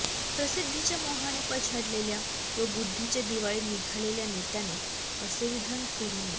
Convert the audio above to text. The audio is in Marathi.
प्रसिद्धीच्या मोहाने पछाडलेल्या व बुद्धीचे दिवाळे निघालेल्या नेत्याने असे विधन करू नये